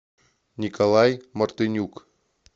николай мартынюк